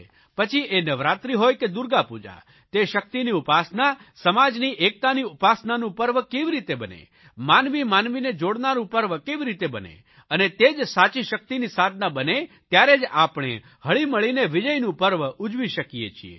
પછી એ નવરાત્રિ હોય કે દુર્ગાપૂજા તે શકિતની ઉપાસનાસમાજની એકતાની ઉપાસનાનું પર્વ કેવી રીતે બને માનવીમાનવીને જોડનારૂં પર્વ કેવી રીતે બને અને તે જ સાચી શકિતની સાધના બને ત્યારે જ આપણે હળીમળીને વિજયનું પર્વ ઉજવી શકીએ છીએ